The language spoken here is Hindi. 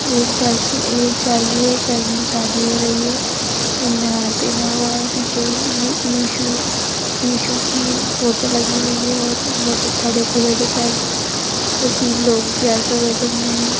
एक चर्च है एक चर्च है चर्च मे शादी हो रही है उन्होंने हार पेहना हुआ हैपीछे ही इशू की फोटो लगी हुई है और बहुत अच्छा डिकोरेट है चर्च और तीन लोग चेयर पे बैठे हुए हैं।